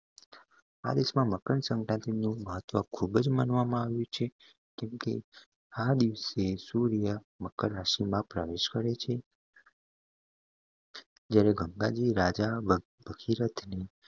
આ દેશ માં મકર સંક્રાંતિ નુ મહત્વ ખુબ જ માનવામાં આવે છે કેમકે આ દિવસે સૂર્ય મકર રાશિ માં પ્રવેશ કરે છે જયારે ગંગાજી રાજા ભ~ ભગીરતની